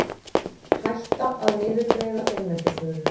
Hætta að niðurgreiða hreinlætisvörur